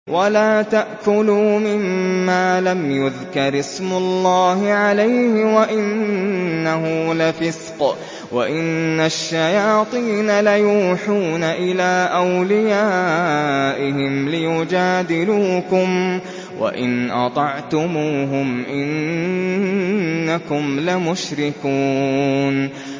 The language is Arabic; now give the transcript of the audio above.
وَلَا تَأْكُلُوا مِمَّا لَمْ يُذْكَرِ اسْمُ اللَّهِ عَلَيْهِ وَإِنَّهُ لَفِسْقٌ ۗ وَإِنَّ الشَّيَاطِينَ لَيُوحُونَ إِلَىٰ أَوْلِيَائِهِمْ لِيُجَادِلُوكُمْ ۖ وَإِنْ أَطَعْتُمُوهُمْ إِنَّكُمْ لَمُشْرِكُونَ